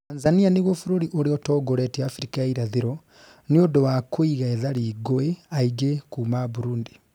Tanzania nĩguo bũrũri uria ũtongoretie Afrika ya ĩrathĩro, nĩũndũ wa kuiga ethari ngũĩ aingĩ kuma Burundi